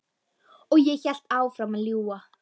Og ég hélt áfram að ljúga.